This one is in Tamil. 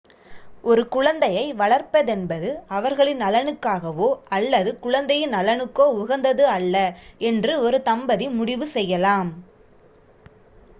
ஒரு குழந்தையை வளர்ப்பதென்பது அவர்களின் நலனுக்காகவோ அல்லது குழந்தையின் நலனுக்கோ உகந்தது அல்ல என்று ஒரு தம்பதி முடிவு செய்யலாம்